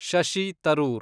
Shashi Tharoor